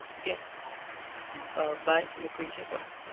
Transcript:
ok અમ bye મુકવી છે call.